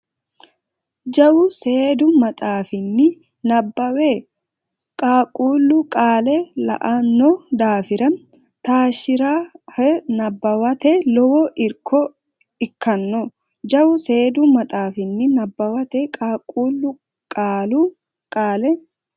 Jawu seedu maxaafinni nabbawa qaaqquullu qaale la anno daafira taashshe rahe nabbawate lowo irko ikkanno Jawu seedu maxaafinni nabbawa qaaqquullu qaale.